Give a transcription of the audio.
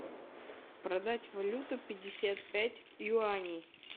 продать валюту пятьдесят пять юаней